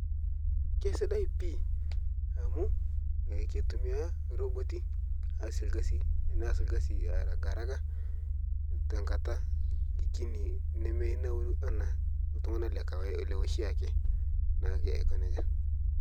Keisidai pii amu keitumiyaa roboti aase lgasi neas lgasi haragaharaga tenkata kini nemenauru ana ltung'ana lekawa leoshiaki naake ako neja.